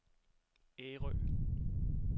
Ærø